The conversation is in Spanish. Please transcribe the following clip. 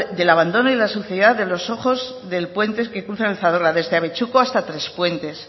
del abandono y de la suciedad de los ojos del puente que cruzan el zadorra desde abetxuko hasta trespuentes